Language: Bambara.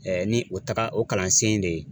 Ɛɛ ni o taga o kalansen in de ye